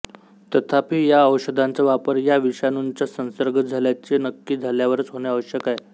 तथापि या औषधांचा वापर या विषाणूंचा संसर्ग झाल्याचे नक्की झाल्यावरच होणे आवश्यक आहे